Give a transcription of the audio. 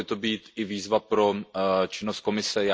Měla by to být výzva pro činnost Komise.